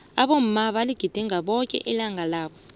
abomma baligidinga boke ilanga labo